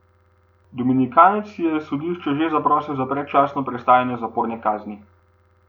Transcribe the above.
Dominikanec je sodišče že zaprosil za predčasno prestajanje zaporne kazni.